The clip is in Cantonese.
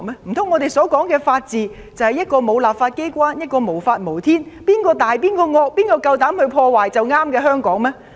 難道我們所說的法治，就是一個沒有立法機關、無法無天，以及誰大誰惡誰夠膽破壞便是正確的香港嗎？